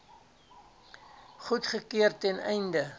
goedgekeur ten einde